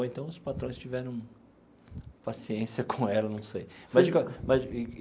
Ou então os patrões tiveram paciência com ela, não sei mas.